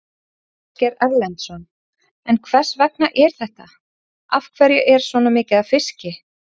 Ásgeir Erlendsson: En hvers vegna er þetta, af hverju er svona mikið af fiski?